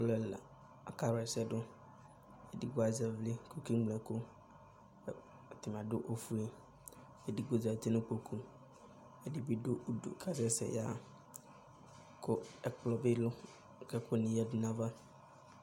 Alʋ ɛla akawla ɛsɛdʋ :edigbo azɛ ɩvlɩ k'okeŋlo ɛkʋ ɛ ɛdɩnɩ adʋ ofue Edigbo zati zati n'ikpoku , ɛdɩ bɩ dʋ udu k'asɛ sɛ yaɣa, kʋ ɛkplɔ bɩ dʋ k'ɛkʋɛdɩ yǝdu n'ayava